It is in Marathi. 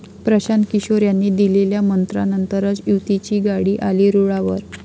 प्रशांत किशोर यांनी दिलेल्या 'मंत्रा'नंतरच युतीची गाडी आली रुळावर!